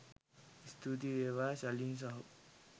ස්තුතියි වේවා ශලින් සහෝ